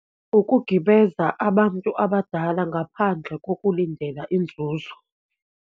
Ukugibeza abantu abadala ngaphandle kokulindela inzuzo.